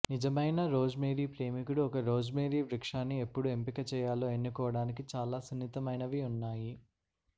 నిజమైన రోజ్మేరీ ప్రేమికుడు ఒక రోజ్మేరీ వృక్షాన్ని ఎప్పుడు ఎంపిక చేయాలో ఎన్నుకోడానికి చాలా సున్నితమైనవి ఉన్నాయి